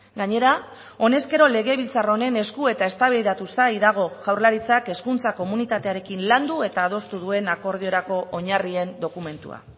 gainera honezkero legebiltzar honen esku eta eztabaidatu zai dago jaurlaritzak hezkuntza komunitatearekin landu eta adostu duen akordiorako oinarrien dokumentua